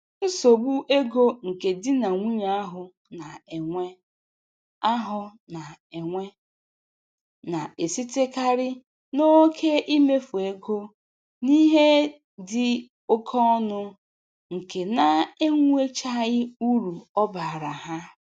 Nsogbu ego nke di na nwunye ahụ na-enwe ahụ na-enwe na-esitekarị n'oke imefu ego n'ihe dị oke ọnụ nke na-enwechaghị uru ọ baara ha